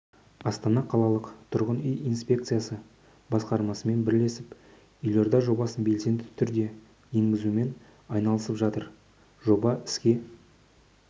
астана қалалық тұрғын үй инспекциясы басқармасымен бірлесіп елордада жобасын белсенді түрде енгізумен айналысып жатыр жобасын іске